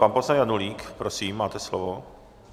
Pan poslanec Janulík, prosím, máte slovo.